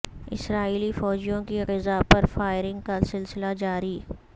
اسرائیلی فوجیوں کی غزہ پر فائرنگ کا سلسلہ جاری